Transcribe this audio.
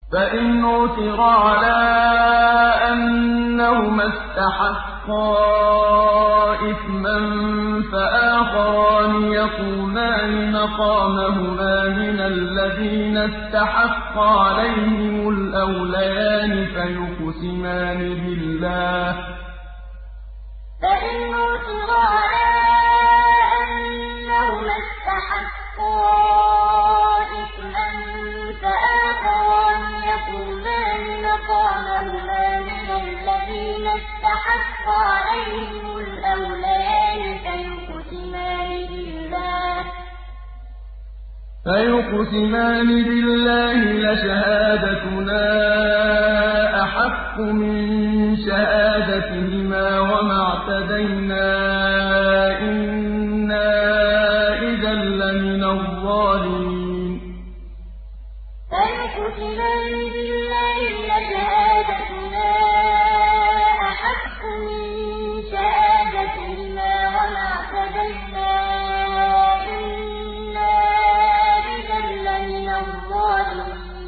فَإِنْ عُثِرَ عَلَىٰ أَنَّهُمَا اسْتَحَقَّا إِثْمًا فَآخَرَانِ يَقُومَانِ مَقَامَهُمَا مِنَ الَّذِينَ اسْتَحَقَّ عَلَيْهِمُ الْأَوْلَيَانِ فَيُقْسِمَانِ بِاللَّهِ لَشَهَادَتُنَا أَحَقُّ مِن شَهَادَتِهِمَا وَمَا اعْتَدَيْنَا إِنَّا إِذًا لَّمِنَ الظَّالِمِينَ فَإِنْ عُثِرَ عَلَىٰ أَنَّهُمَا اسْتَحَقَّا إِثْمًا فَآخَرَانِ يَقُومَانِ مَقَامَهُمَا مِنَ الَّذِينَ اسْتَحَقَّ عَلَيْهِمُ الْأَوْلَيَانِ فَيُقْسِمَانِ بِاللَّهِ لَشَهَادَتُنَا أَحَقُّ مِن شَهَادَتِهِمَا وَمَا اعْتَدَيْنَا إِنَّا إِذًا لَّمِنَ الظَّالِمِينَ